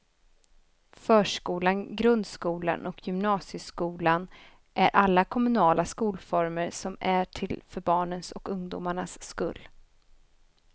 Förskolan, grundskolan och gymnasieskolan är alla kommunala skolformer som är till för barnens och ungdomarnas skull.